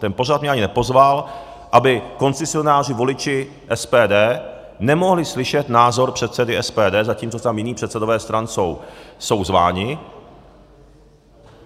Ten pořad mě ani nepozval, aby koncesionáři, voliči SPD, nemohli slyšet názor předsedy SPD, zatímco tam jiní předsedové stran jsou zváni.